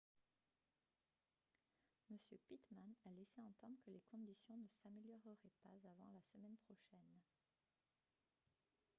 m pittman a laissé entendre que les conditions ne s'amélioreraient pas avant la semaine prochaine